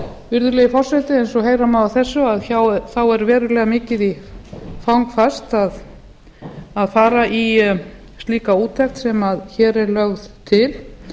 virðulegi forseti eins og heyra má af þessu er verulega mikið í fang færst að fara í slíka úttekt sem hér er lögð til